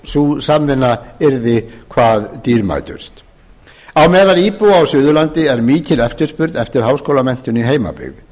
sú samvinna yrði hvað dýrmætust á meðal íbúa á suðurlandi er mikil eftirspurn eftir háskólamenntun í heimabyggð